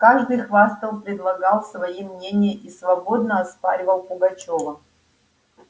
каждый хвастал предлагал свои мнения и свободно оспаривал пугачёва